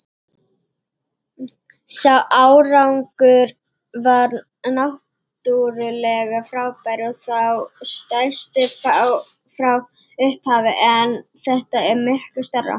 Sá árangur var náttúrlega frábær og þá stærsti frá upphafi en þetta er miklu stærra.